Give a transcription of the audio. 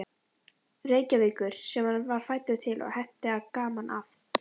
Reykjavíkur, sem hann var fæddur til, og henti gaman að.